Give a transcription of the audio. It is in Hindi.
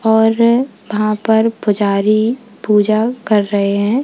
और वहां पर पुजारी पूजा कर रहे हैं।